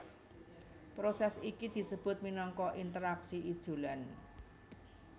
Prosès iki disebut minangka interaksi ijolan